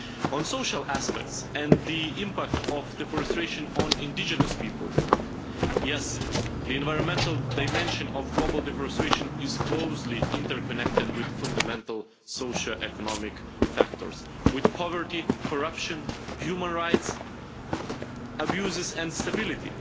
On social aspects and the impact of deforestation on indigenous peoples, yes, the environmental dimension of global deforestation is closely interconnected with fundamental socio-economic factors with poverty, corruption, human rights abuses and stability.